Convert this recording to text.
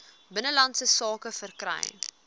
binnelandse sake verkry